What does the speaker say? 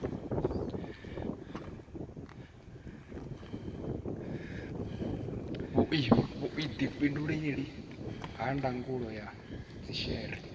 vhuifhinduleli ha ndangulo ya dzhishere